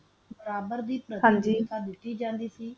ਰਾਜਾ ਦਾ ਬੰਦਾ ਓਛਾ ਓਛਾ